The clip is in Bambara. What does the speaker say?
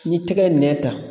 Ni tɛgɛ ye nɛ ta